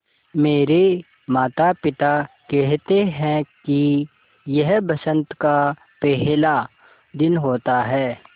मेरे माता पिता केहेते है कि यह बसंत का पेहला दिन होता हैँ